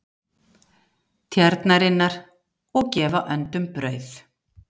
Tjarnarinnar og gefa öndum brauð.